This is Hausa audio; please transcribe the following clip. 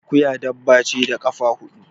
Akuya dabba ce da kafa huɗu